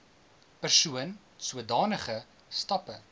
persoon sodanige stappe